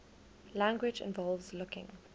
language involves looking